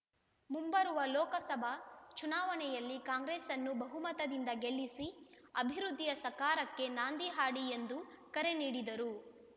ಮುಂಬರುವ ಲೋಕಸಭಾ ಚುನಾವಣೆಯಲ್ಲಿ ಕಾಂಗ್ರೆಸ್‌ನ್ನು ಬಹುಮತದಿಂದ ಗೆಲ್ಲಿಸಿ ಅಭಿವೃದ್ಧಿಯ ಸಾಕಾರಕ್ಕೆ ನಾಂದಿ ಹಾಡಿ ಎಂದು ಕರೆ ನೀಡಿದರು